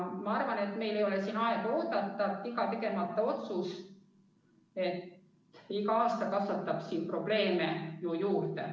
Ma arvan, et meil ei ole siin aega oodata, iga tegemata otsus ja iga aasta kasvatab ju probleeme juurde.